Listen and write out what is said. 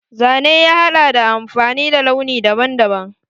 Zane ya haɗa da amfani da launi daban daban.